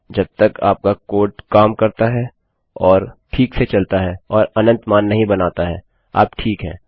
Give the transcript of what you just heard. जब तक आपका कोड काम करता है और ठीक से चलता है और अनंत मान नहीं बनाता है आप ठीक हैं